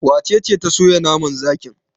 Wace ce ta soya naman zakin?